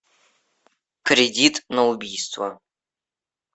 кредит на убийство